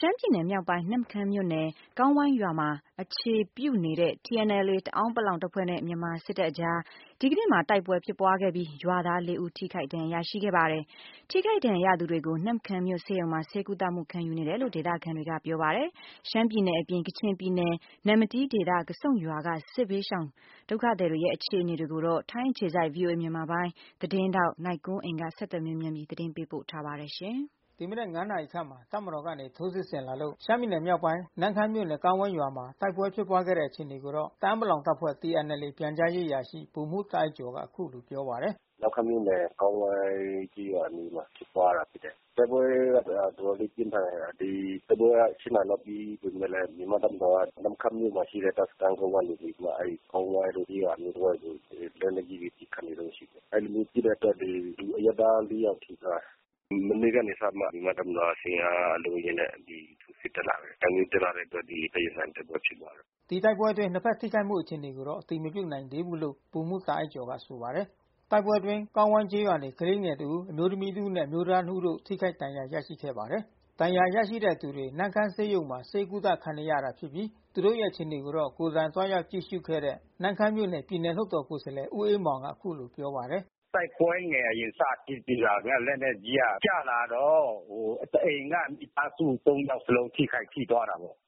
ရှမ်းပြည်နယ်မြောက်ပိုင်း နမ့်ခမ်းမြို့နယ်ကောင်းဝိုင်းရွာမှာအခြေပြုနေတဲ့ TNLAတအာင်းပလောင်တပ်ဖွဲ့နဲ့ မြန်မာ့တပ်မတော်တို့ အကြား ဒီကနေ့မှာတိုက်ပွဲဖြစ်ပွါးခဲ့ပြီး ရွာသား(၄)ဦးလဲ ထိခိုက်ဒဏ်ရာရရှိခဲ့ပါတယ်။ ထိခိုက်ဒဏ်ရာရသူတွေကို နမ့်ခမ်းမြို့ ဆေးရုံမှာဆေးဝါးကုသခံနေဆဲလို့ ဒေသခံတွေကပြောပါတယ်။ ရှမ်းပြည်နယ် အပြင်ကချင်ပြည်နယ်၊ နမ္မတီးဒေသက ကဆုန့်ရွာက စစ်ဘေးတိမ်းရှောင်နေရတဲ့အခြေအနေတွေကိုတော့ ထိုင်းအခြေစိုက် VOAသတင်းထောက် နိုင်ကွန်းအိန်ကနေ ဆက်သွယ်မေးမြန်း သတင်းပေးပို့ထားပါတယ်။ ဒီမနက်(၅)နာရီခန့်မှာ တပ်မတော်ကနေထိုးစစ်တင်လာလို့ ရှမ်းပြည်နယ်မြောက်ပိုင်း နမ့်ခမ်းမြို့နယ်ကောင်းဝိုင်းရွာမှာတိုက်ပွဲ ဖြစ်ပွါးခဲ့တဲ့အခြေအနေကိုတော့ တအာင်းပလောင်အဖွဲ့TNLA ပြန် ကြားရေးအရာရှိဗိုလ်မှူးတာ့အိုက်ကျော်ကအခုလိုပြောပါတယ်။ နမ့်ခမ်းမြို့နယ် ကောင်းဝိုင်းကျေးရွာအနီးမှာတိုက်ပွဲဖြစ်ပွါးတာဖြစ်တယ်။ တိုက်ပွဲကတော်တော်လေးပြင်းထန်တယ်။ တိုက်ပွဲက (၈)နာရီလောကပြီးပေမဲ့လဲ မြန်မာ့တပ်မတော်က နမ့်ခမ်းမြို့မှာရှိတဲ့စခမ်းကုန်းကနေပြီးမှ ကောင်းဝိုင်းကျေးရွာအနီးတဝိုက်ကို သူတို့လက်နက်ကြီးပစ်ခတ်နေတုန်းရှိတယ်။ အဲဒီလိုမျိုးပစ်တဲ့အတွက် လူအရပ်သား(၄)ယောက်ထိသွားတယ်။ မနေ့ကနေပြီး မှမြန်မာ့တပ်မတော်က စစ်အင်အားအလုံးအရင်းနဲ့ တက်လာတယ်။ အဲဒီလိုမျိုးတက်လာတဲ့အတွက် ရင်ဆိုင်တိုက်ပွဲဖြစ်ပွါးတယ်။ ဒီတိုက်ပွဲအတွင်းနှစ်ဖက်ထိခိုက်မှုအခြေအနေကိုတော့အတည်မပြုနိုင်သေးဘူးလို့ ဗိုလ်မှူးတာ့အိုက်ကျော်ကဆိုပါတယ်။ တိုက်ပွဲအတွင်းကောင်းဝိုင်းကျေးရွာနေ ကလေးငယ်တဦး အမျိုးသမီးတဦးနဲ့အမျိုးသားနှစ်ဦးတို့ထိခိုက်ဒဏ်ရာရရှိခဲ့ပါတယ်။ ဒဏ်ရာရရှိတဲ့သူတွေကိုနမ့်ခမ်းဆေးရုံမှာဆေးကုသခံနေတာဖြစ်ပြီး သူတို့ရဲ့အခြေအနေကိုတော့ ကိုယ်တိုင်သွားရောက်ကြည့်ရှုခဲ့ တဲ့ နမ့်ခမ်းမြို့နယ် ပြည်နယ်လွှတ်တော်ကိုယ်စားလှယ်ဦးအေးမောင်ကအခုလိုပြောပါတယ်။ တိုက်ပွဲငယ်အရင်စဖြစ်ပြီးတာနဲ့ လက်နက်ကြီးကျလာတော့ တအိမ်က မိသားစု(၃)ယောက်လုံးထိခိုက်ထိသွားတာပေါ့။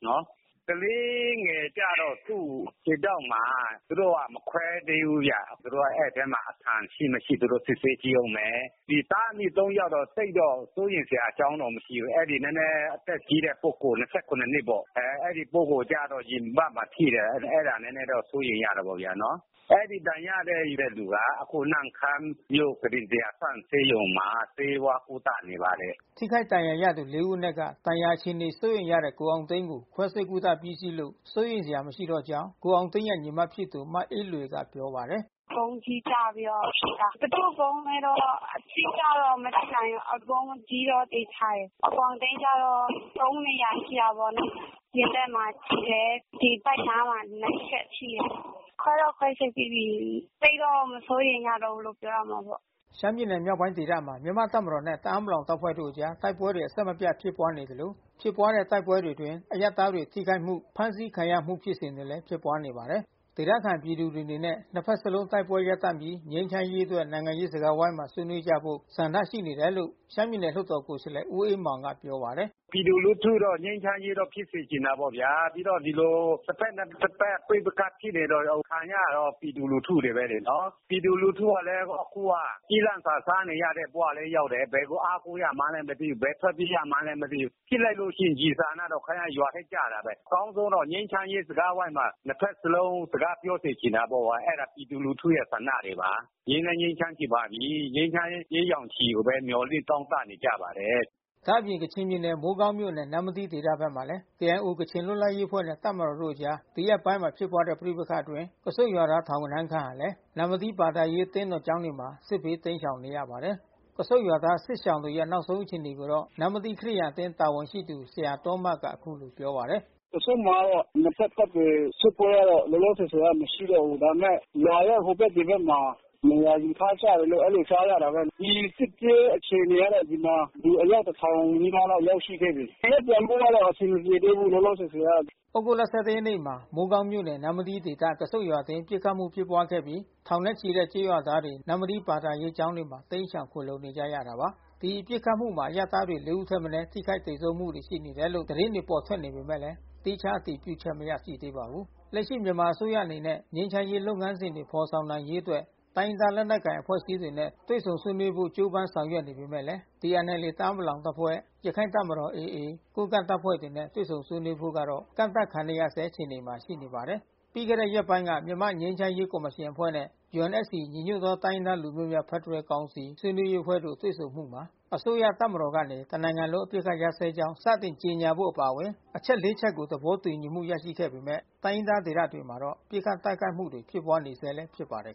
ကလေး ငယ်ကျတော့သူ့ခြေထောက်မှာ သူတို့ကမခွဲသေးဘူးဗျ။ သူတို့ကအဲဒီအထဲမှာအခံရှိမရှိစစ်ဆေးကြည့်ဦးမယ်။ သားအမိ(၃) ယောက်တော့ သိပ်ပြီးစိုးရိမ်စရာအကြောင်းမရှိဘူး။ အဲဒီနဲနဲအသက်ကြီးတဲ့ပုဂ္ဂိုလ် (၂၇)နှစ်ပေါ့။ အဲဒီပုဂ္ဂိုလ်ကျတော့ ရင်ဘတ် မှာထိတယ်။ အဲတာကျတော့နဲနဲစိုးရိမ်ရတာပေါ့နော်။ အဲဒီဒဏ်ရရတဲ့သူတွေဟာ နမ့်ခမ်းမြို့ကုတင်(၁၀၀)ဆန့်ဆေးရုံမှာ ဆေးဝါးကုသနေပါတယ်။ ထိခိုက်ဒဏ်ရာရသူ(၄)ဦးအနက်က ဒဏ်ရာအခြေအနေစိုးရိမ်ရတဲ့ကိုအောင်သိန်းကိုခွဲစိပ်ကုသပြီးစီးလို့ စိုးရိမ်စရာမရှိတော့ ကြောင်း ကိုအောင်သိန်းရဲ့ညီမဖြစ်သူမအေးလွေကပြောပါတယ်။ ဗုံးကြီးကျလို့ထိတာ။ ဘယ်သူ့ဗုံးလဲတော့ အတိအကျတော့မသိနိုင်ဘူး။ ဗုံးကြီးတော့သေချာတယ်။ ကိုအောင်သိန်းကျတော့ (၃)နေရာထိတာပေါ့နော်။ ရင်ဘတ်မှာထိတယ်။ ဒီဗိုက်ခြမ်းမှာ ၂ ချက်ထိတယ်။ ခွဲတော့ခွဲစိပ်ပြီးပြီး။ သိပ်တော့မစိုးရိမ်ရဘူး ပြောရမှာပေါ့။ ရှမ်းပြည်နယ်မြောက်ပိုင်းဒေသမှာ မြန်မာ့တပ်မတော်နဲ့ တအာင်းပလောင်တပ်ဖွဲ့တို့အကြား တိုက်ပွဲတွေအဆက်မပြတ် ဖြစ်ပွါး နေသလို ဖြစ်ပွါးတဲ့တိုက်ပွဲတွေအတွင်း အရပ်သားတွေထိခိုက်မှု ဖမ်းဆီးခံရမှုဖြစ်စဉ်တွေလဲဖြစ်ပွါးနေပါတယ်။ ဒေသခံပြည်သူတွေအနေနဲ့ နှစ်ဖက်စလုံးတိုက်ပွဲကိုရပ်တန့်ပြီး ငြိမ်းချမ်းရေးအတွက် နိုင်ငံရေးစကားဝိုင်းမှာ ဆွေးနွေး ကြဖို့ဆန္ဒရှိ တယ်လို့ ရှမ်းပြည်နယ်လွှတ်တော်ကိုယ်စားလှယ်ဦးအေးမောင်ကပြောပါတယ်။ ပြည်သူလူထုတော့ငြိမ်းချမ်းရေးဖြစ်စေချင်တာပေါ့ဗျာ။ ပြီးတော့ဒီလိုတဖက်နဲ့တဖက် ပဋိပက္ခဖြစ်နေတော့ ခံနေရတာ ပြည်သူတွေဘဲလေ။ ပြည်သူလူထုကလဲ အခုကကျီးလန့်စာစားဘဝလဲရောက်တယ်။ ဘယ်ကိုအားကိုးရမှန်းလဲမသိဘူး။ ဘယ်ထွက်ပြေးရမှန်းလဲမသိဘူး။ ဖြစ်လိုက်လို့ရှိရင်ကျည်ဆံကရွာထဲကျတာဘဲ။ အကောင်းဆုံးတော့ငြိမ်းချမ်းရေးစကားဝိုင်းမှာ နှစ်ဖက်စလုံးစကားပြောစေချင်တာပေါ့။ အဲတာပြည်သူလူထုဆန္ဒတွေပါ။ ငြိမ်းလဲငြိမ်းချမ်းချင်ပါပြီး။ ငြိမ်းချမ်းရေးအရိပ် ရောင်ခြည်ကိုဘဲ မျှော်လင့်တောင့်တနေကြပါတယ်။ ဒါ့အပြင် ကချင်ပြည်နယ် မိုးကောင်းမြို့နယ် နမ္မတီးဒေသဘက်မှာလဲ KIOကချင်လွတ်လပ်ရေးအဖွဲ့နဲ့ တပ်မတော်တို့အကြား ဒီရက်ပိုင်းမှာဖြစ်ပွါးတဲ့ပဋိပက္ခအတွင်း ကဆုန့်ရွာသားထောင်ဂဏန်းခန့်ဟာလဲ နမ္မတီးဘာသာရေးအသင်းတော်ကျောင်းတွေမှာ စစ်ဘေးတိမ်းရှောင်နေရပါတယ်။ ကဆုန့်ရွာသားစစ်ရှောင်တွေရဲ့နောက်ဆုံးအခြေအနေကိုတော့ နမ္မတီးခရစ်ယာန်အသင်းတာဝန်ရှိသူဆရာသောမတ်က အခုလို ပြောပါတယ်။ ကဆုန့်မှာကတော့ လောလောဆယ်ဆယ်နှစ်ဖက်တပ်တွေစစ်ပွဲကတော့မရှိတော့ဘူး။ ဒါပေမဲ့ရွာရဲ့ဟိုဘက်ဒီဘက်မှာ နေရာယူထားကြတယ်လို့အဲဒီလိုကြားရတာဘဲ။ ဒီစစ်ပြေးအခြေအနေကတော့ ဒီမှာအယောက်တထောင်နီးပါးတော့ရောက်ရှိခဲ့ တယ်။ နေရပ်ပြန်ဖို့တော့အဆင်မပြေသေးဘူးလောလောဆယ်ဆယ်ကတော့။ သြဂုတ်လ(၁၁)ရက်နေ့မှာ မိုးကောင်းမြို့နယ် နမ္မတီးဒေသကဆုန့်ရွာအတွင်းပစ်ခတ်မှုဖြစ်ပွါးခဲ့ပြီး ထောင်နဲ့ချီတဲ့ကျေးရွာသား တွေ နမ္မတီးဘာသာရေးကျောင်းတွေမှာ တိမ်းရှောင်ခိုလှုံနေကြရတာပါ။ ဒီပစ်ခတ်မှုမှာအရပ်သားတွေ(၄)ဦးထက်မနဲထိခိုက်သေဆုံးမှုတွေရှိနေတယ်လို့ သတင်းတွေပေါ်ထွက်နေပေမဲ့ သီးခြားအတည်ပြု ချက်မရရှိသေးပါဘူး။ လက်ရှိမြန်မာအစိုးရအနေနဲ့ ငြိမ်းချမ်းရေးလုပ်ငန်းစဉ်တွေဖေါ်ဆောင်နိုင်ရေးအတွက် တိုင်းရင်းသားလက်နက်ကိုင်အဖွဲ့အစည်း တွေနဲ့ တွေ့ဆုံဆွေးနွေးဖို့ကြိုးပမ်းဆောင်ရွက်မှုတွေရှိနေပေမဲ့ TNLAတအာင်းပလောင်အဖွဲ့ ရခိုင်တပ်မတော်AA ကိုးကန့် တပ်ဖွဲ့တွေနဲ့ တွေ့ဆုံဆွေးနွေးဖို့ကတော့ကန့်သတ်ခံနေရဆဲအခြေအနေမှာရှိနေပါတယ်။ ပြီးခဲ့တဲ့ရက်ပိုင်းကမြန်မာ့ငြိမ်းချမ်းရေးကော်မရှင်အဖွဲ့နဲ့ UNFCညီညွတ်သောတိုင်းရင်းသားလူမျိုးများဖက်ဒရယ်ကောင်စီဆွေးနွေး ရေးအဖွဲ့တို့တွေ့ဆုံမှုမှာ အစိုးရတပ်မတော်ကနေ တနိုင်ငံလုံးအပစ်အခတ်ရပ်စဲကြောင်း စတင်ကြေညာဖို့အပါအဝင် အချက် (၄) ချက်ကို သဘောတူညီမှုရရှိခဲ့ပေမဲ့ တိုင်းရင်းသားဒေသတွေမှာတော့ ပစ်ခတ်တိုက်ခိုက်မှုတွေဖြစ်ပွါးနေဆဲလဲဖြစ်ပါတယ်